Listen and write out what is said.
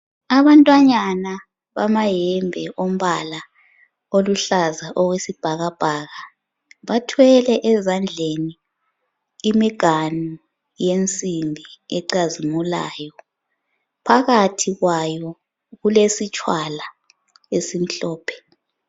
Abantwanyana bamayembe ombala oluhlaza okwesibhakabhaka bathwele ezandleni imiganu yensimbi ecazimulayo phakathi kwayo kulesitshwala esimhlophe